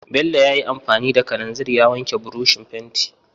Bello ya yi anfani da kalanzir ya wanke burushin fentin.